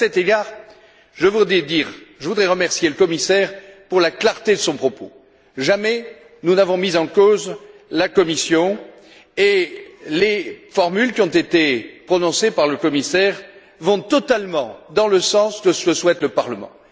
À cet égard, je voudrais remercier le commissaire pour la clarté de son propos. Jamais nous n'avons mis en cause la Commission et les formules qui ont été prononcées par le commissaire vont totalement dans le sens de ce que souhaite le Parlement.